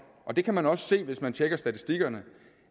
og det kan man også se hvis man tjekker statistikkerne